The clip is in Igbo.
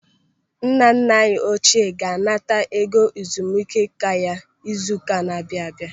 Nna nna anyị ochie ga-anata ego ezumike nká ya izu ụka na-abịa abịa.